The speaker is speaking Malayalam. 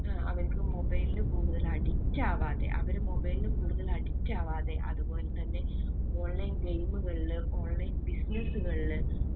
ഏർ അവർക്ക് mobile കൂടുതല് addict ആവാതെ. അവര് mobile കൂടുതല് addict ആവാതെ. അത് പോലെത്തന്നെ online game കളില് online business കളില്